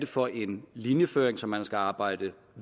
for en linjeføring som man skal arbejde